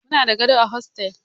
Muna da gado a hostel.